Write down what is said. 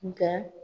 Nga